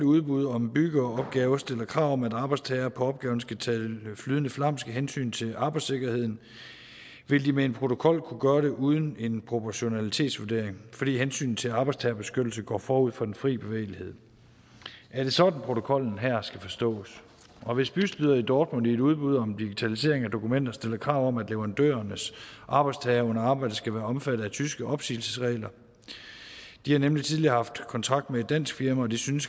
udbud om byggeopgaver stiller krav om at arbejdstager på opgaven skal tale flydende flamsk af hensyn til arbejdssikkerheden vil de med en protokol kunne gøre det uden en proportionalitetsvurdering fordi hensynet til arbejdstagerbeskyttelse går forud for den fri bevægelighed er det sådan protokollen her skal forstås og hvis bystyret i dortmund i et udbud om digitalisering af dokumenter stiller krav om at leverandørernes arbejdstagere under arbejdet skal være omfattet af tyske opsigelsesregler de har nemlig tidligere haft kontrakt med et dansk firma og de synes